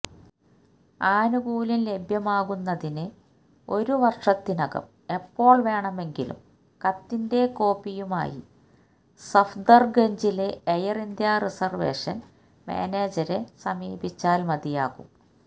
ആനുകൂല്യം ലഭ്യമാവുന്നതിന് ഒരു വര്ഷത്തിനകം എപ്പോള് വേണമെങ്കിലും കത്തിന്റെ കോപ്പിയുമായി സഫ്ദര്ഗഞ്ചിലെ എയര് ഇന്ത്യ റിസര്വേഷന് മാനേജരെ സമീപിച്ചാല് മതിയാകും